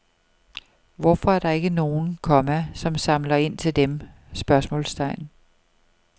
Hvorfor er der ikke nogen, komma som samler ind til dem? spørgsmålstegn